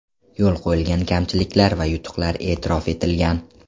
Yo‘l qo‘yilgan kamchiliklar va yutuqlar e’tirof etilgan.